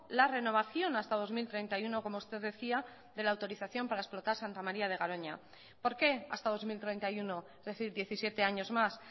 la renovación hasta dos mil treinta y uno como usted decía de la autorización para explotar santa maría de garoña por qué hasta dos mil treinta y uno es decir diecisiete años más